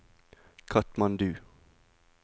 Katmandu